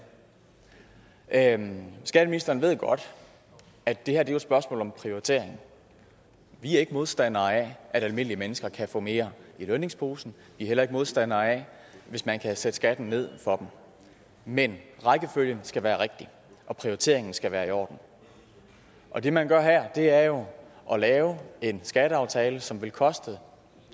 andet skatteministeren ved godt at det her er et spørgsmål om prioritering vi er ikke modstandere af at almindelige mennesker kan få mere i lønningsposen vi er heller ikke modstandere af hvis man kan sætte skatten ned for dem men rækkefølgen skal være rigtig og prioriteringen skal være i orden og det man gør her er jo at lave en skatteaftale som vil koste